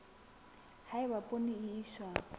ha eba poone e iswa